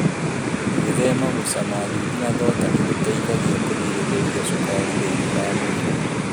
Gwĩthema gũcama thwiti na thonda nĩ gũteithagia kũgirĩrĩria cukari thĩinĩ wa mwĩrĩ.